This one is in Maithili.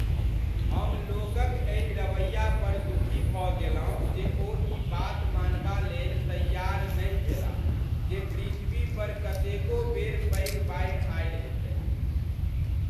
हम लोकक एहि रवैया पर दुखी भऽ गेलहुँ जे ओ ई बात मानबालेल तैआरे नहि भेलाह जे पृथ्वी पर कतेको बेर पैघ बाढ़ि आयल हेतैक ।